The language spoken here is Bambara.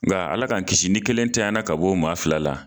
Nka Ala k'an kisi ni kelen tanyala ka bɔ o maa fila la!